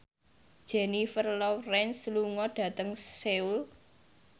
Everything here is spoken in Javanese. Jennifer Lawrence lunga dhateng Seoul